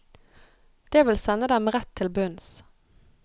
Det vil sende dem rett til bunns.